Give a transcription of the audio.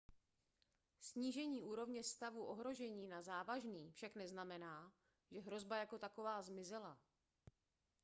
snížení úrovně stavu ohrožení na závažný však neznamená že hrozba jako taková zmizela